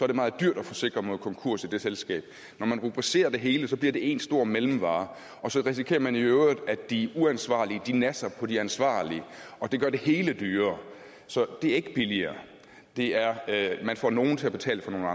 det meget dyrt at forsikre mod konkurs i det selskab når man rubricerer det hele bliver det én stor mellemvare og så risikerer man i øvrigt at de uansvarlige nasser på de ansvarlige og det gør det hele dyrere så det er ikke billigere det er at man får nogle til at betale for nogle